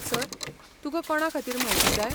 Sir, तुका कोणाखातीर म्हायती जाय?